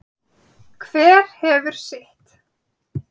Hver hefur sitt.